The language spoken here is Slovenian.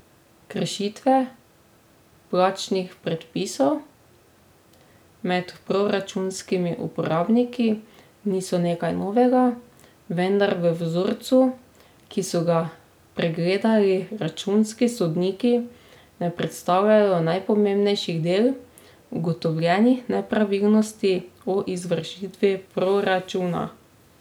Kršitve plačnih predpisov med proračunskimi uporabniki niso nekaj novega, vendar v vzorcu, ki so ga pregledali računski sodniki ne predstavljajo najpomembnejši del ugotovljenih nepravilnosti o izvršitvi proračuna.